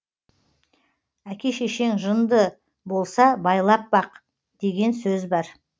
әке шешең жынды болса байлап бақ деген сөз бар